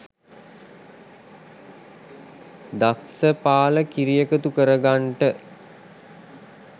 දක්සපාල කිරි එකතු කරගන්ට